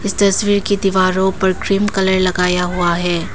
इस तस्वीर की दीवारों पर क्रीम कलर लगाया हुआ है।